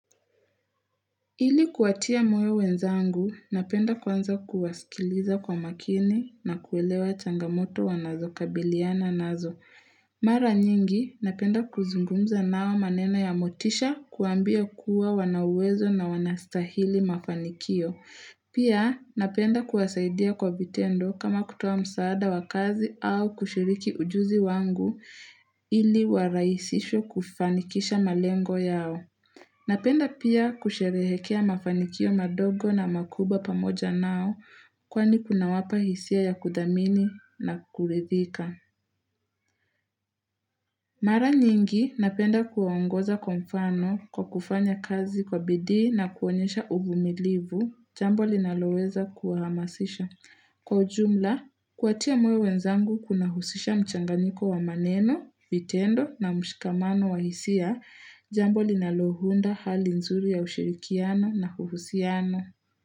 Ili kuwatia moyo wenzangu, napenda kwanza kuwasikiliza kwa makini na kuelewa changamoto wanazo kabiliana nazo. Mara nyingi, napenda kuzungumza nao maneno ya motisha kuwambia kuwa wana uwezo na wanastahili mafanikio. Pia, napenda kuwasaidia kwa vitendo kama kutoa msaada wakazi au kushiriki ujuzi wangu ili wa rahisishwe kufanikisha malengo yao. Napenda pia kusherehekea mafanikio madogo na makubwa pamoja nao kwani kunawapa hisia ya kudhamini na kuridhika. Mara nyingi napenda kuwaongoza kwa mfano kwa kufanya kazi kwa bidii na kuonyesha uvumilivu jambo linaloweza kuhamasisha. Kwa ujumla, kuwatia moyo wenzangu kunahusisha mchanganiko wa maneno, vitendo na mshikamano wa hisia, jambo linalounda hali nzuri ya ushirikiano na kuhusiano.